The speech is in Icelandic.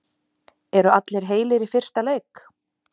Eru allir heilir í fyrsta leik?